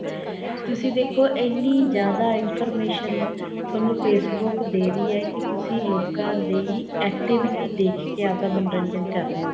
ਤੁਸੀਂ ਦੇਖੋ ਐਨੀਂ ਜਿਆਦਾ information ਤੁਹਾਨੂੰ Facebook ਦੇ ਰਹੀ ਏ ਕੀ ਤੁਸੀਂ ਲੋਕਾਂ ਦੀ activity ਦੇਖਕੇ ਆਪ ਦਾ ਮੰਨੋਰੰਜਨ ਕਰ ਰਹੇ ਹੋ